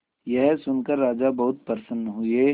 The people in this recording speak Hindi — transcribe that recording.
यह सुनकर राजा बहुत प्रसन्न हुए